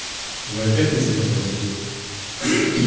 вы опять не закрываете дверь